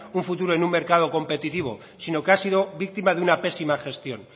un futuro en un mercado competitivo sino que ha sido víctima de una pésima gestión